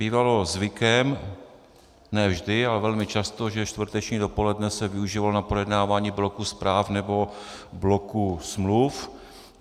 Bývalo zvykem, ne vždy, ale velmi často, že čtvrteční dopoledne se využívalo na projednávání bloku zpráv nebo bloku smluv.